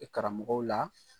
I karamɔgɔw la